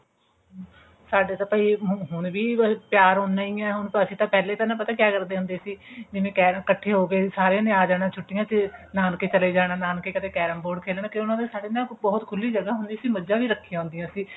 ਸਾਡੇ ਤਾਂ ਭਾਈ ਹੁਣ ਹੁਣ ਵੀ ਪਿਆਰ ਉਹਨਾਂ ਹੀ ਹੈ ਹੁਣ ਅਸੀਂ ਤਾਂ ਨਾ ਪਹਿਲੇ ਪਤਾ ਕਿਆ ਕਰਦੇ ਹੁੰਦੇ ਸੀ ਜਿਵੇਂ ਇੱਕਠੇ ਹੋ ਕੇ ਸਾਰਿਆ ਨੇ ਆ ਜਾਣਾ ਛੁੱਟੀਆਂ ਚ ਨਾਨਕੇ ਚਲੇ ਜਾਣਾ ਨਾਨਕੇ ਕਦੇ carrom board ਖੇਲਣਾ ਕਿਉਂਕਿ ਉਹਨਾਂ ਦੇ ਸਾਡੇ ਨਾ ਬਹੁਤ ਖੁੱਲੀ ਜਗ੍ਹਾ ਹੁੰਦੀ ਸੀ ਮੱਝਾ ਵੀ ਰੱਖਿਆ ਹੁੰਦਿਆ ਸੀ